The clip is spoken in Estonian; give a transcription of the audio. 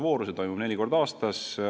Taotlemine toimub neli korda aastas.